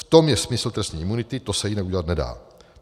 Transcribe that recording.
V tom je smysl trestní imunity, to se jinak udělat nedá.